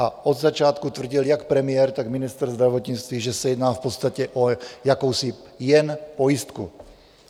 A od začátku tvrdil jak premiér, tak ministr zdravotnictví, že se jedná v podstatě o jakousi jen pojistku.